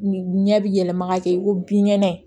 Ɲɛ bi yɛlɛma ka kɛ ko binkɛnɛ ye